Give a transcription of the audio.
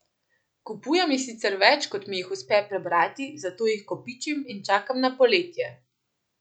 Kupujem jih sicer več, kot mi jih uspe prebrati, zato jih kopičim in čakam na poletje!